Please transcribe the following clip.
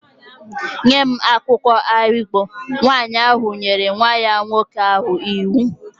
Nye m akwụkwọ ahigbo! Nwaanyị ahụ nyere nwa nwoke ahụ iwu